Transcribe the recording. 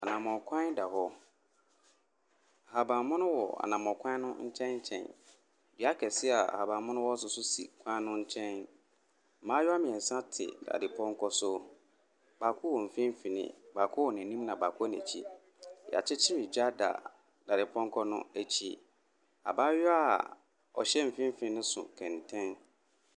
Anammɔn kwan da hɔ. Nhaban mono wɔ anammɔn kwan no nkyɛnkyɛn. Dua kɛseɛ a ababan mono wɔ so nso si kwan no nkyɛn. Mmaayaa mmiɛnsa te dadepɔnkɔ so. Baako wɔ mfimfini, baako wɔ n’anim na bako wɔ n’akyi. Yɛakyekyere gya da dadepɔnkɔ no akyi. Abaayaa a ɔhyɛ mfimfini no so kɛntɛn.